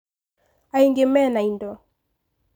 Angĩ mena indo.